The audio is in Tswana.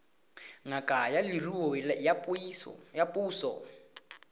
ngaka ya leruo ya puso